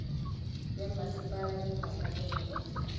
ya mmasepala diphaka le mabitla